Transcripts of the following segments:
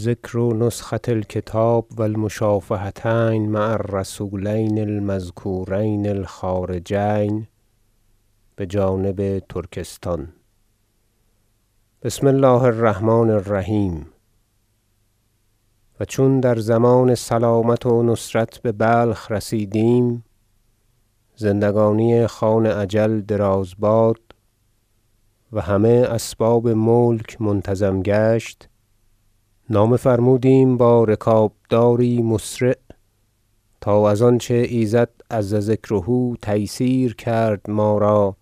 ذکر نسخة الکتاب و المشافهتین مع الرسولین المذکورین الخارجین بجانب ترکستان بسم الله الرحمن الرحیم و چون در ضمان سلامت و نصرت ببلخ رسیدیم- زندگانی خان اجل دراز باد- و همه اسباب ملک منتظم گشت نامه فرمودیم با رکابداری مسرع تا از آنچه ایزد عزذکره تیسیر کرد ما را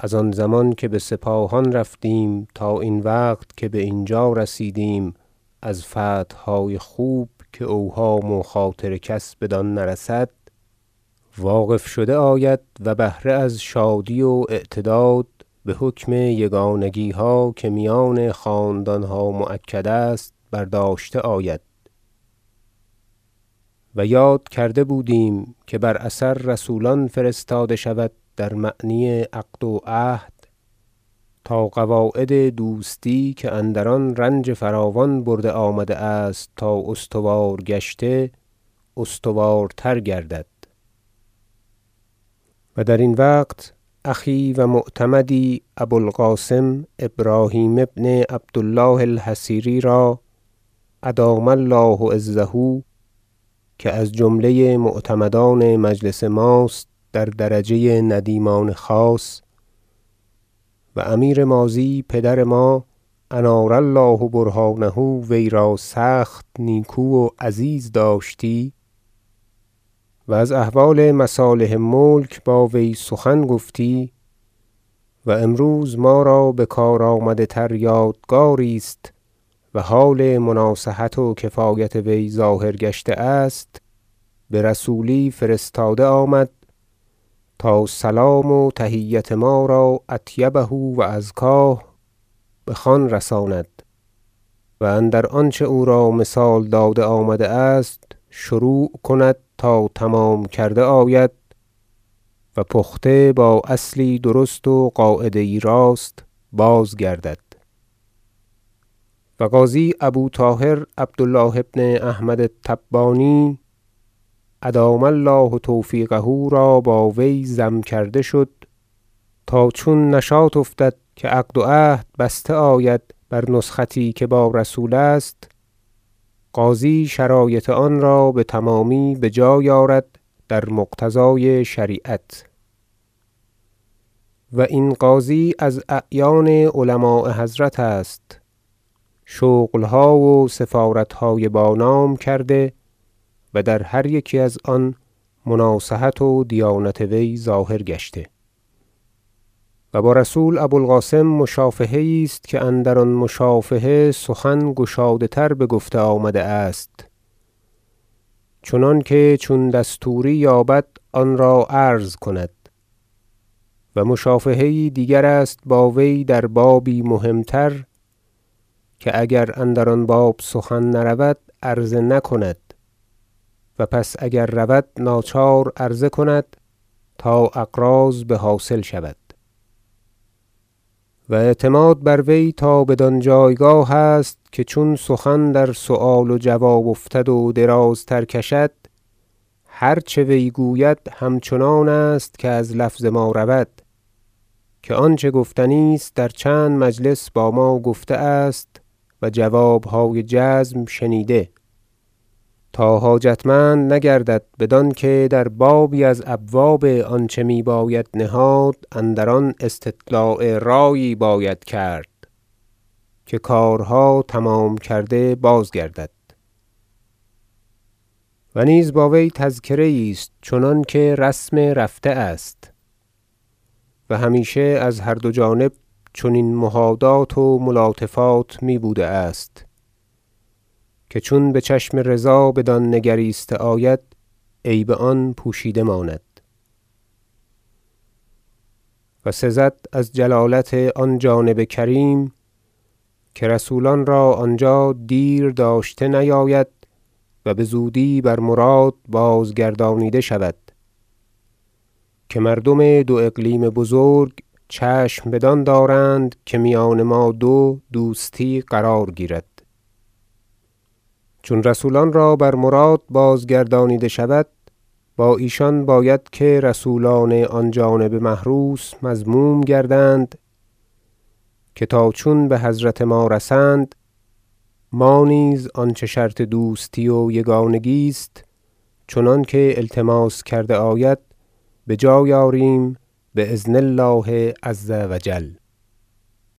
از آن زمان که بسپاهان برفتیم تا این وقت که باینجا رسیدیم از فتحهای خوب که اوهام و خاطر کس بدان نرسد واقف شده آید و بهره از شادی و اعتداد بحکم یگانگیها که میان خاندانها مؤکد است برداشته آید و یاد کرده بودیم که بر اثر رسولان فرستاده شود در معنی عقد و عهد تا قواعد دوستی که اندران رنج فراوان برده آمده است تا استوار گشته استوارتر گردد و در این وقت أخی و معتمدی ابو القاسم ابراهیم بن عبد الله الحصیری را ادام الله عزه که از جمله معتمدان مجلس ماست در درجه ندیمان خاص و امیر ماضی پدر ما انار الله برهانه وی را سخت نیکو و عزیز داشتی و از احوال مصالح ملک با وی سخن گفتی و امروز ما را بکار آمده تر یادگاریست و حال مناصحت و کفایت وی ظاهر گشته است برسولی فرستاده آمد تا سلام و تحیت ما را اطیبه و ازکاه بخان رساند و اندر آنچه او را مثال داده آمده است شروع کند تا تمام کرده آید و پخته با اصلی درست و قاعده یی راست بازگردد و قاضی ابو طاهر عبد الله بن احمد التبانی ادام الله توفیقه را با وی ضم کرده شد تا چون نشاط افتد که عقد و عهد بسته آید بر نسختی که با رسول است قاضی شرایط آن را بتمامی بجای آرد در مقتضای شریعت و این قاضی از اعیان علماء حضرت است شغلها و سفارتهای با نام کرده و در هر یکی از آن مناصحت و دیانت وی ظاهر گشته و با رسول ابو القاسم مشافهه یی است که اندران مشافهه سخن گشاده تر بگفته آمده است چنانکه چون دستوری یابد آن را عرض کند و مشافهه یی دیگر است با وی در بابی مهمتر که اگر اندر آن باب سخن نرود عرضه نکند و پس اگر رود ناچار عرضه کند تا اغراض بحاصل شود و اعتماد بر وی تا بدان جایگاه است که چون سخن در سؤال و جواب افتد و درازتر کشد هرچه وی گوید همچنان است که از لفظ ما رود که آنچه گفتنی است در چند مجلس با ما گفته است و جوابهای جزم شنیده تا حاجتمند نگردد بدانکه در بابی از ابواب آنچه می باید نهاد اندر آن استطلاع رایی باید کرد که کارها تمام کرده بازگردد و نیز با وی تذکره ایست چنانکه رسم رفته است و همیشه از هر دو جانب چنین مهادات و ملاطفات می بوده است که چون بچشم رضا بدان نگریسته آید عیب آن پوشیده ماند و سزد از جلالت آن جانب کریم که رسولان را آنجا دیر داشته نیاید و بزودی بر مراد بازگردانیده شود که مردم دو اقلیم بزرگ چشم بدان دارند که میان ما دو دوستی قرار گیرد چون رسولان را بر مراد بازگردانیده شود با ایشان باید که رسولان آن جانب محروس مضموم گردند که تا چون بحضرت ما رسند ما نیز آنچه شرط دوستی و یگانگی است چنانکه التماس کرده آید بجای آریم باذن الله عزوجل